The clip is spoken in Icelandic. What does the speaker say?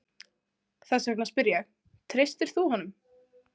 Þess vegna spyr ég, treystir þú honum?